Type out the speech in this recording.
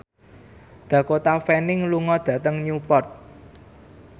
Dakota Fanning lunga dhateng Newport